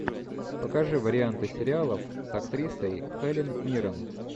покажи варианты сериалов с актрисой хелен миррен